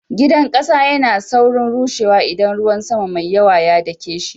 Gidan kasa yana saurin rushewa idan ruwan sama mai yawa ya dake shi.